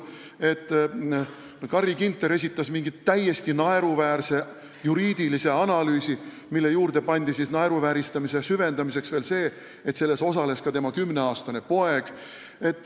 Carri Ginter esitas mingi täiesti naeruväärse juriidilise analüüsi, mille juurde pandi naeruvääristamise süvendamiseks veel see, et selle tegemises osales ka tema kümneaastane poeg.